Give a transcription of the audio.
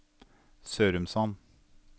Sørumsand